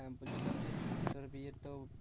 হ্যাঁ বলছিলাম যে তোর বিয়ে তো